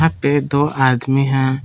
पे दो आदमी हैं।